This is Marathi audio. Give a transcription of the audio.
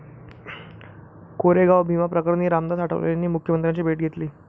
कोरेगाव भीमा प्रकरणी रामदास आठवलेंनी मुख्यमंत्र्यांची भेट घेतली